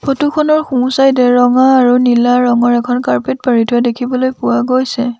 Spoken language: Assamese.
ফটো খনৰ সোঁ চাইডে ৰঙা আৰু নীলা ৰঙৰ এখন কাৰ্পেট পাৰি থোৱা দেখিবলৈ পোৱা গৈছে।